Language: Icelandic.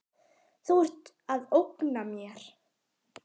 Þú ert að ógna mér.